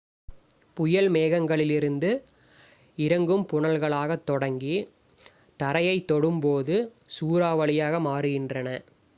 "புயல் மேகங்களிலிருந்து இறங்கும் புனல்களாகத் தொடங்கி தரையைத் தொடும்போது "சூறாவளி""யாக மாறுகின்றன.